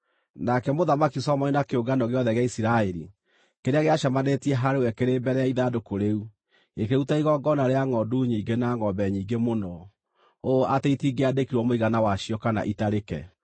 nake Mũthamaki Solomoni na kĩũngano gĩothe gĩa Isiraeli kĩrĩa gĩacemanĩtie harĩ we kĩrĩ mbere ya ithandũkũ rĩu, gĩkĩruta igongona rĩa ngʼondu nyingĩ na ngʼombe nyingĩ mũno, ũũ atĩ itingĩandĩkirwo mũigana wacio kana itarĩke.